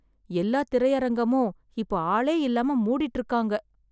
எல்லா திரையரங்கமும் இப்ப ஆளே இல்லாம மூடிட்டு இருக்காங்க